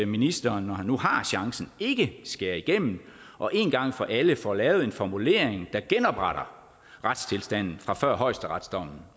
ministeren når han nu har chancen ikke skærer igennem og én gang for alle får lavet en formulering der genopretter retstilstanden fra før højesteretsdommen